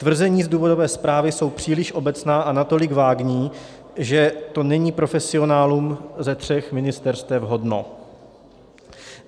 Tvrzení z důvodové zprávy jsou příliš obecná a natolik vágní, že to není profesionálů ze tří ministerstev hodno.